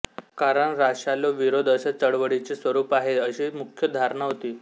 कारण राशालो विरोध असे चळवळीचे स्वरूप आहे अशी मुख्य धारणा होती